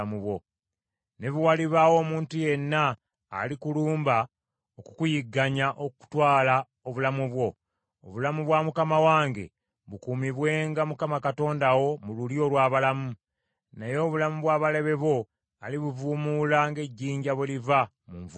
Ne bwe walibaawo omuntu yenna alikulumba okukuyigganya okutwala obulamu bwo, obulamu bwa mukama wange bukuumibwenga Mukama Katonda wo mu lulyo olw’abalamu. Naye obulamu bw’abalabe bo alibuvuumuula ng’ejjinja bwe liva mu nvuumuulo.